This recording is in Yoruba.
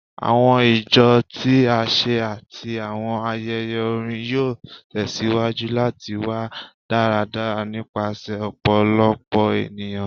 Awọn ijó ti aṣa ati awọn ayẹyẹ orin yoo tẹsiwaju lati wa daradara nipasẹ ọpọlọpọ eniyan